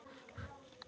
Hann var góður þessi.